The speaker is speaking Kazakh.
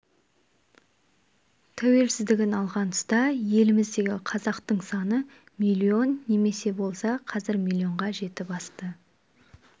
тәуелсіздігін алған тұста еліміздегі қазақтың саны миллион немесе болса қазір миллионға жетіп асты